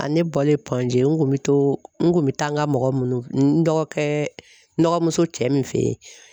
A ne bɔlen pɔnze n kun bɛ to n kun bɛ taa n ka mɔgɔ minnu dɔgɔkɛ nɔgɔ muso cɛ min fɛ yen.